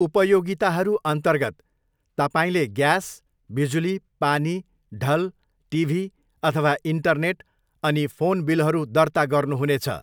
उपयोगिताहरू अन्तर्गत तपाईँले ग्यास, बिजुली, पानी, ढल, टिभी अथवा इन्टरनेट, अनि फोन बिलहरू दर्ता गर्नुहुनेछ।